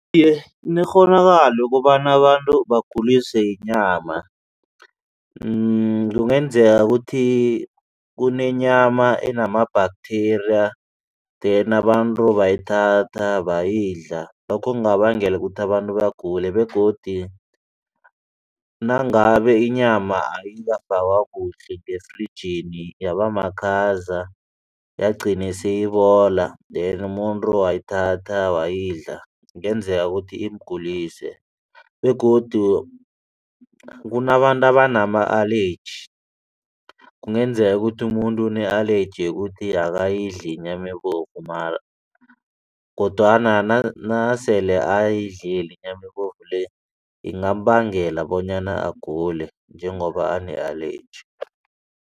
Iye, kunekghonakalo yokobana abantu baguliswe yinyama kungenzeka ukuthi kunenyama enama-bacteria then abantu bayithatha bayidla lokho kungabangela ukuthi abantu bagule begodi nangabe inyama ayikafakwa kuhle ngefrijini yaba makhaza yagcina seyibabola then umuntu wayithatha wayidla kungenzeka ukuthi imgulise begodu kunabantu abanama-allergy kungenzeka ukuthi umuntu une-allergy yokuthi akayidli inyama ebovu kodwana nasele ayidlile inyama ibovu le ingambangela bonyana agule njengoba ane-allergy.